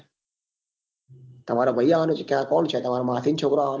તમારો ભાઈ આવે છે કોણ છે ક્યા તમાર માસી નો છોકરો આવવા નો